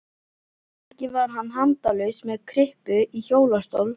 Ekki var hann handalaus með kryppu í hjólastól.